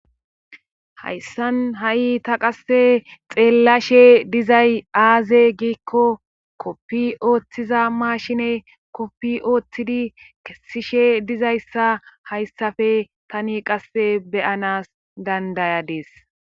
hayssan ha'i ta qasse xeellashe dizay aaze giikko koppi ooththiza maashine koppi ooththidi kessishe dizayssa hayssafe tani qasse beyanas dandayadis